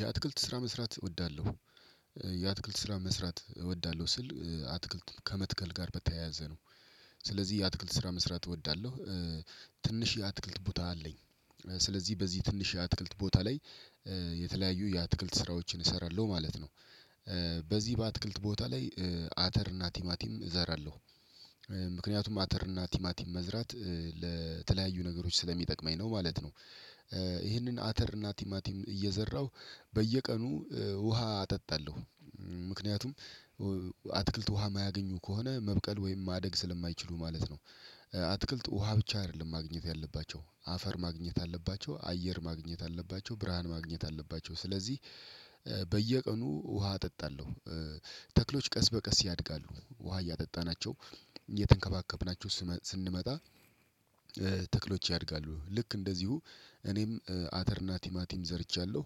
የአትክልት ስራ መስራት እወዳለሁ። እ የአትክልት ስራ መስራት እወዳለሁ ስል እ አትክልት ከመትከል ጋር በተያያዘ ነው። ስለዚህ የአትክልት ስራ መስራት እወዳለሁ እ ትንሽ የአትክልት ቦታ አለኝ። ስለዚህ በዚህ ትንሽ የአትክልት ቦታ ላይ እ የተለያዩ የአትክልት ስራዎችን እሰራለሁ ማለት ነው። እ በዚህ በአትክልት ቦታ ላይ እ አተር እና ቲማቲም እዘራለሁ። እ ምክንያቱም አተር እና ቲማቲም መዝራት ለተለያዩ ነገሮች ስለሚጠቅመኝ ነው ማለት ነው። እ ይህንን አተር ናቲማቲም እየዘራሁ በየቀኑ እ ውሃ አጠጣለሁ። እ ምክንያቱም አትክልት ውሃ የማያገኙ ከሆነ መብቀል ወይም ማደግ ስለማይችሉ ማለት ነው። እ አትክልት ውሃ ብቻ አይደለም ማግኘት ያለባቸው አፈር ማግኘት አለባቸው አየር ማግኘት አለባቸው ብርሃን ማግኘት አለባቸው። ስለዚህ እ በየቀኑ ውሃ አጠጣለሁ። እ ተክሎች ቀስ በቀስ ያድጋሉ ውሃ እያጠጣናቸው እየተንከባከብናቸው ስንመጣ። እ ተክሎች ያድጋሉ ልክ እንደዚሁ እኔም አተርና ቲማቲም ዘርቻለሁ።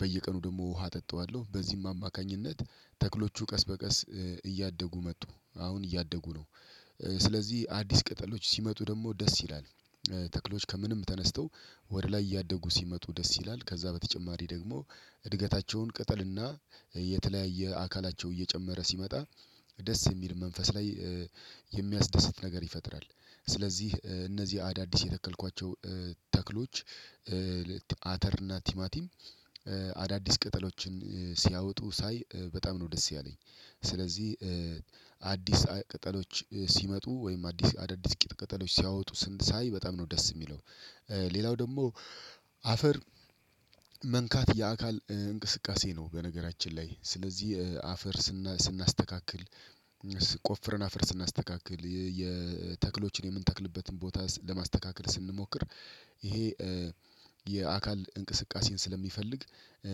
በየቀኑ ደግሞ ውሃ አጠጣዋለሁ በዚህም አማካኝነት ተክሎቹ ቀስ በቀስ እ እያደጉ መጡ አሁን እያደጉ ነው። ስለዚህ አዲስ ቅጠሎች ሲመጡ ደግሞ ደስ ይላል እ ተክሎች ከምንም ተነስተው ወደ ላይ እያደጉ ሲመጡ ደስ ይላል። ከዛ በተጨማሪ ደግሞ እድገታቸውን ቅጠልና የተለያየ አካላቸው እየጨመረ ሲመጣ ደስ የሚል መንፈስ ላይ እ የሚያስደስት ነገር ይፈጥራል። ስለዚህ እነዚህ አዳዲስ የተከልኳቸው ተክሎች እ አተር እና ቲማቲም እ አዳዲስ ቅጠሎችን እ ሲያወጡ ሳይ በጣም ነው ደስ ያለኝ። ስለዚህ እ አዲስ ቅጠሎች ሲመጡ ወይም አዲስ አዳዲስ ቅጠሎች ሲያወጡ ሳይ በጣም ነው ደስ የሚለው። እ ሌላው ደግሞ አፈር መንካት የአካል እንቅስቃሴ ነው። በነገራችን ላይ ስለዚህ እ አፈር ስናስተካክል ቆፍረን አፈር ስናስተካክል የተክሎችን የምንተክልበትን ቦታ ለማስተካከል ስንሞክር። ይሄ እ የአካል እንቅስቃሴን ስለሚፈልግ እ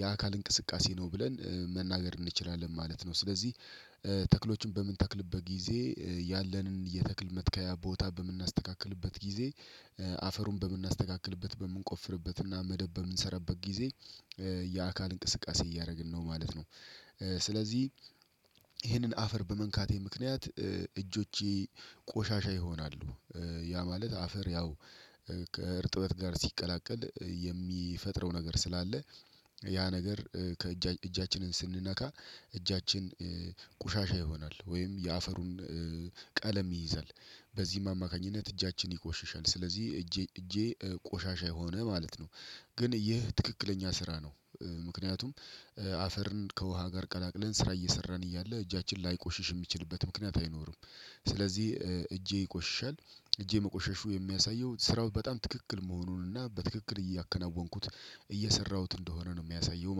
የአካል እንቅስቃሴ ነው ብለን እ መናገር እንችላለን ማለት ነው። ስለዚህ እ ተክሎችን በምንተክልበት ጊዜ እ ያለንን የተክል መትከያ ቦታ በምናስተካክልበት ጊዜ እ አፈሩን በምናስተካክልበት በምንቆፍርበት እና መደብ በምንሰራበት ጊዜ እ የአካል እንቅስቃሴ እያደረግን ነው ማለት ነው። ስለዚህ ይሄንን አፈር በመንካቴ ምክንያት እ እጆቼ ቆሻሻ ይሆናሉ። እ ያ ማለት አፈር ያው ከእርጥበት ጋር ሲቀላቀል እ የሚፈጥረው ነገር ስላለ ያ ነገር እ ከእጃችን እጃችንን ስንነካ እጃችን እ ቆሻሻ ይሆናል። ወይም የአፈሩን ቀለም ይይዛል በዚህም አማካኝነት እጃችን ይቆሽሻል። ስለዚህ እጄ እጄ ቆሻሻ የሆነ ማለት ነው። ግን ይህ ትክክለኛ ስራ ነው። ምክንያቱም እ አፈርን ከውሃ ጋር ቀላቅለን ስራ እየሰራን እያለ እጃችን ላይቆሽሽ የሚችልበት ምክንያት አይኖርም። ስለዚህ እ እጄ ይቆሽሻል እጄ መቆሸሹ የሚያሳየው ስራው በጣም ትክክል መሆኑን እና በትክክል እያከናወንኩት እየሰራሁት እንደሆነ ነው የሚያሳየው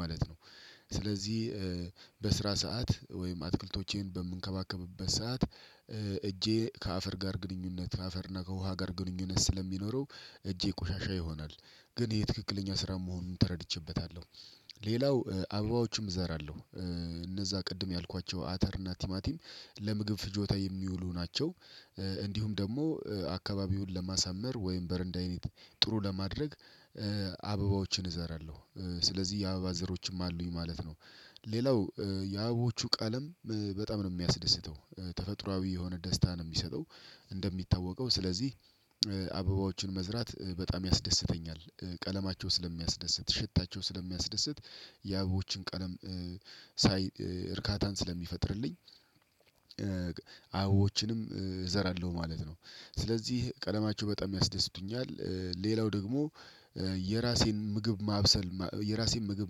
ማለት ነው። ስለዚህ እ በስራ ሰዓት ወይም አትክልቶቼን በምንከባከብበት ሰዓት እ እጄ ከአፈር ጋር ግንኙነት አፈር እና ከውሃ ጋር ግንኙነት ስለሚኖረው እጄ ቆሻሻ ይሆናል። ግን የትክክለኛ ስራ መሆኑን ተረድቼበታለሁ። ሌላው እ አበባዎችም እዘራለሁ እ እነዛ ቅድም ያልኳቸው አተር እና ቲማቲም ለምግብ ፍጆታ የሚውሉ ናቸው። እ እንዲሁም ደግሞ አከባቢውን ለማሳመር ወይም በረንዳይነት ጥሩ ለማድረግ አበባዎችን እዘራለሁእ ስለዚህ የአበባ ዘሮችም አሉኝ ማለት ነው። ሌላው እ የአበቦቹ ቀለም በጣም ነው የሚያስደስተው እ ተፈጥሮአዊ የሆነ ደስታን የሚሰጠው። እንደሚታወቀው ስለዚህ እ አበባዎችን መዝራት እ በጣም ያስደስተኛል። ቀለማቸው ስለሚያስደስት ሽታቸው ስለሚያስደስት የአበቦችን ቀለም እ ሳይ እርካታን ስለሚፈጥርልኝ እ አበቦችንም እ እዘራለሁ ማለት ነው። ስለዚህ ቀለማቸው በጣም ያስደስቱኛል። እ ሌላው ደግሞ እ የራሴን ምግብ ማብሰል የራሴን ምግብ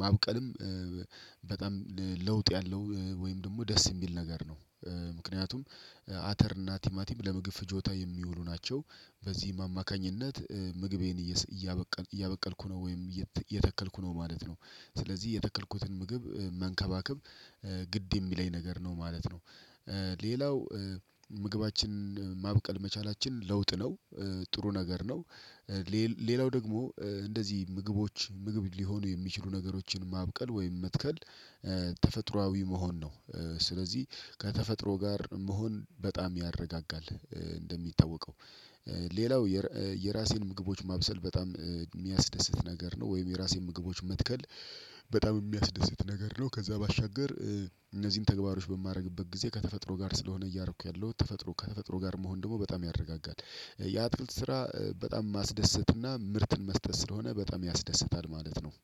ማብቀልም እ በጣም ለውጥ ያለው ወይም ደግሞ ደስ የሚል ነገር ነው። እ ምክንያቱም አተር እና ቲማቲም ለምግብ ፍጆታ የሚውሉ ናቸው። በዚህ አማካኝነት እ ምግቤን እያበቀልኩ ነው ወይም እየተከልኩ ነው ማለት ነው። ስለዚህ የተከልኩትን ምግብ መንከባከብ እ ግድ የሚለኝ ነገር ነው ማለት ነው። እ ሌላው እ ምግባችን ማብቀል መቻላችን ለውጥ ነው። እ ጥሩ ነገር ነው። እ ሌላው ደግሞ እ እንደዚህ ምግቦች ምግብ ሊሆኑ የሚችሉ ነገሮችን ማብቀል ወይም መትከል እ ተፈጥሮአዊ መሆን ነው። እ ስለዚህ ከተፈጥሮ ጋር መሆን በጣም ያረጋጋል። እ እንደሚታወቀው ሌላው የራሴን ምግቦች ማብሰል በጣም እ የሚያስደስት ነገር ነው። ወይም የራሴን ምግቦች መትከል በጣም የሚያስደስት ነገር ነው። ከዛ ባሻገር እ እነዚህን ተግባሮች በማደርግበት ጊዜ ከተፈጥሮ ጋር ስለሆነ እያረኩ ያለሁት ተፈጥሮ ከተፈጥሮ ጋር መሆን ደግሞ በጣም ያረጋጋል። እ ስራ በጣም ማስደሰትና ምርትን መስጠት ስለሆነ በጣም ያስደስታል ማለት ነው